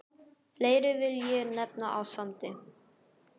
Fleiri vil ég nefna á Sandi.